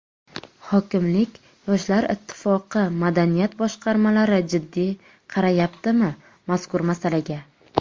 Hokimlik, Yoshlar Ittifoqi, madaniyat boshqarmalari jiddiy qarayaptimi mazkur masalaga?